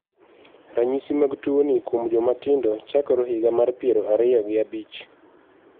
Ranyisi mag tuo ni kuom joma tindo chakore ehig mar piero ariyo gabich .